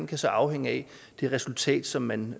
kan afhænge af det resultat som man